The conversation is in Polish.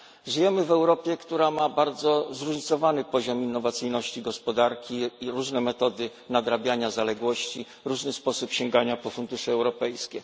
Żyjemy w Europie, która ma bardzo zróżnicowany poziom innowacyjności gospodarki, jak i różne metody nadrabiania zaległości, różny sposób sięgania po fundusze europejskie.